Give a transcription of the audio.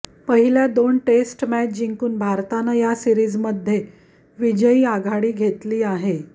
पहिल्या दोन test match जिंकून भारतानं या सीरिजमध्ये विजयी आघाडी घेतली आहे